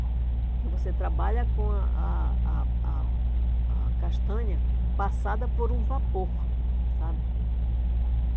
Porque você trabalha com a a a a a castanha passada por um vapor, sabe?